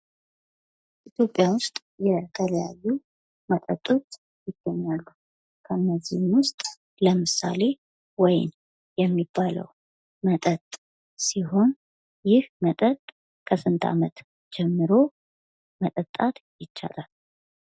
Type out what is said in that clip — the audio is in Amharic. ኢትዮጵያ ውስጥ የተለያዩ መጠጦች ይገኛሉ ከነዚህም ውስጥ ለምሳሌ ወይን የሚባል መጠጥ ሲሆን ይህን መጠጥ ከስንት ዓመት ጀምሮ መጠጣት ይቻላል?